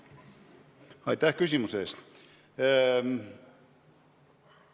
Aitäh küsimuse eest!